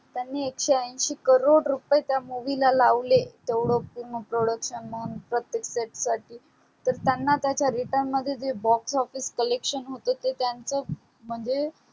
त्यांनी एकशे अंशी crore रुपे त्या movie ला लावले तेवढ पूर्ण production म्हणण प्रतेक stage साठी तर त्यांना त्याच्या return मध्ये जे Box Office collection होत ते त्यांच्या मध्ये